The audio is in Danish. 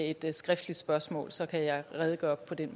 et skriftligt spørgsmål og så kan jeg redegøre for det